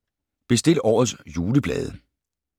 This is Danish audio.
Bestil årets juleblade